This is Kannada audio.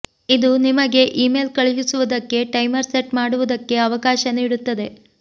ಇದು ನಿಮಗೆ ಇಮೇಲ್ ಕಳುಹಿಸುವುದಕ್ಕೆ ಟೈಮರ್ ಸೆಟ್ ಮಾಡುವುದಕ್ಕೆ ಅವಕಾಶ ನೀಡುತ್ತದೆ